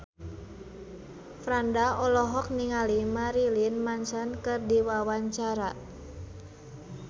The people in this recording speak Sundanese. Franda olohok ningali Marilyn Manson keur diwawancara